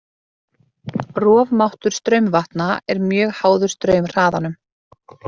Rofmáttur straumvatna er mjög háður straumhraðanum.